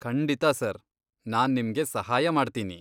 ಖಂಡಿತಾ ಸರ್, ನಾನ್ ನಿಮ್ಗೆ ಸಹಾಯ ಮಾಡ್ತೀನಿ.